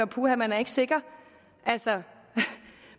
puha man er ikke sikker altså